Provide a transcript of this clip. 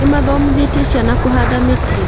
Nĩmathomithĩtie ciana kũhanda mĩtĩ